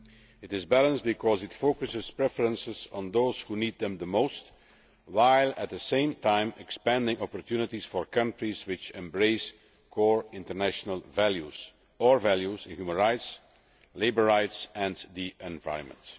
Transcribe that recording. It is balanced because it focuses preferences on those who need them the most while, at the same time, expanding opportunities for countries which embrace core international values or values in human rights, labour rights and the environment.